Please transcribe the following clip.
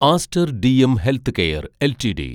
Aster DM healthcare LTD